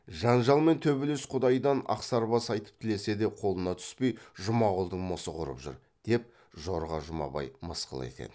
жанжал мен төбелес құдайдан ақсарбас айтып тілесе де қолына түспей жұмағұлдың мысы құрып жүр деп жорға жұмабай мысқыл ететін